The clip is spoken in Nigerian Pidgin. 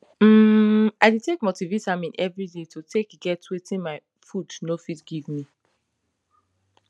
hmm i dey take multivitamin every day to take get wetin my food no fit give me